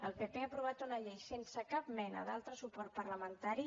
el pp ha aprovat una llei sense cap mena d’altre suport parlamentari